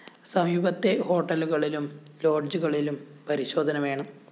സമീപത്തെ ഹോട്ടലുകളിലും ലോഡ്ജുകളിലും പരിശോധന വേണം